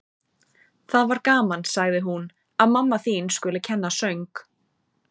Það var gaman, sagði hún: Að mamma þín skuli kenna söng.